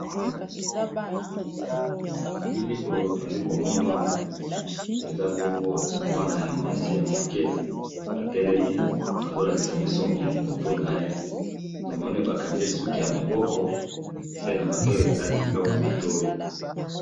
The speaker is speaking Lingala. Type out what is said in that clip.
Bilili tozali komona awa ezali mwana mwasi ya muke atelemi baza kolakisa biso mutu naye, Tomoni bakangiye suki ya maboko, alati na biloko ya matoyi.